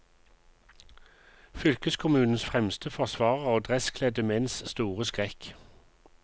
Fylkeskommunens fremste forsvarer og dresskledde menns store skrekk.